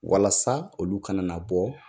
Walasa olu kana na bɔ